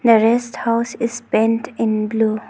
The rest house is painted in blue.